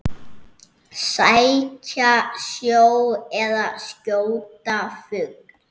Sækja sjó eða skjóta fugl.